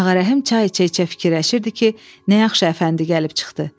Ağarəhim çay içə-içə fikirləşirdi ki, nə yaxşı Əfəndi gəlib çıxdı.